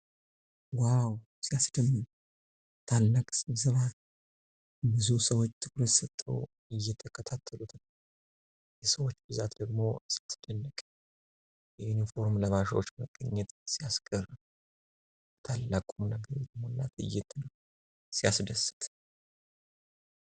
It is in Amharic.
ዋው! ሲያስደምም! ታላቅ ስብሰባ ነው! ብዙ ሰዎች ትኩረት ሰጥተው እየቸከታተሉ ነው። የሰዎች ብዛት ደግሞ ሲያስደንቅ! የዩኒፎርም ለባሾች መገኘት ሲያስገርም! በታላቅ ቁምነገር የተሞላ ትዕይንት ነው! ሲያስደስት!